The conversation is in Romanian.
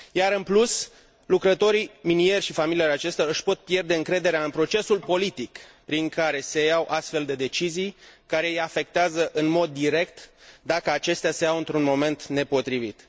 În plus, lucrătorii minieri și familiile acestora își pot pierde încrederea în procesul politic prin care se iau astfel de decizii, care îi afectează în mod direct, dacă acestea se iau într un moment nepotrivit.